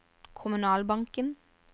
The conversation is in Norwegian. kommunalbanken